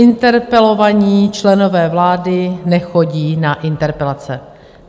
Interpelovaní členové vlády nechodí na interpelace.